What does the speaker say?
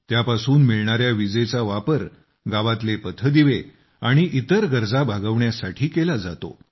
त्यापासून मिळणाऱ्या विजेचा वापर गावातले पथदिवे आणि इतर गरजा भागवण्यासाठी केला जातो